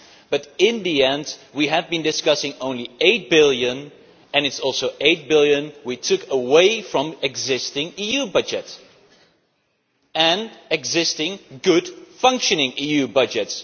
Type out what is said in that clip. But in the end we have been discussing only EUR 8 billion, and it is also EUR 8 billion we took away from the existing EU budget, an existing well functioning EU budget.